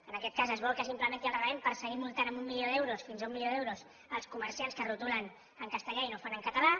en aquest cas es vol que s’implementi el reglament per seguir multant amb un milió d’euros fins a un milió d’euros els comerciants que retolen en castellà i no ho fan en català